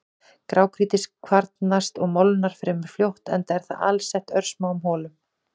Grágrýti kvarnast og molnar fremur fljótt enda er það alsett örsmáum holum.